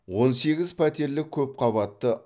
он сегіз пәтерлі көпқабатты